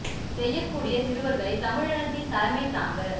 செய்யக்கூடிய சிறுவர்களை தமிழனத்தின் தலைமை தாங்க